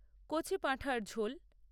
কচি পাঁঠার ঝোল